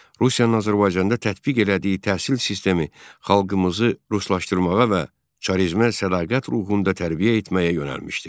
Rusiyanın Azərbaycanda tətbiq elədiyi təhsil sistemi xalqımızı ruslaşdırmağa və çarızmə sədaqət ruhunda tərbiyə etməyə yönəlmişdi.